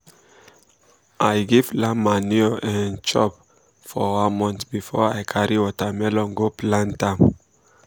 i give land manure um chop for one month before i carry watermelon go plant um am.